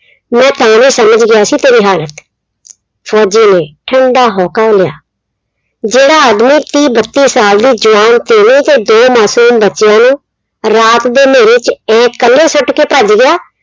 ਮੈਂ ਤਾਂ ਵੀ ਸਮਝ ਗਿਆ ਸੀ ਤੇਰੀ ਹਾਲਤ, ਫ਼ੌਜੀ ਨੇ ਠੰਡਾ ਹੌਂਕਾ ਲਿਆ, ਜਿਹੜਾ ਆਦਮੀ ਤੀਹ ਬੱਤੀ ਸਾਲ ਦੀ ਜਵਾਨ ਕੁੜੀ ਤੇ ਦੋ ਮਾਸੂਮ ਬੱਚਿਆਂ ਨੂੰ ਰਾਤ ਦੇ ਹਨੇਰੇ ਚ ਆਏਂ ਕੱਲੇ ਛੱਡ ਕੇ ਭੱਜ ਗਿਆ,